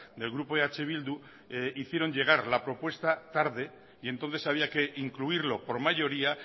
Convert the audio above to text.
del grupo eh bildu hicieron llegar la propuesta tarde y entonces había que incluirlo por mayoría